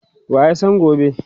waya San gobe?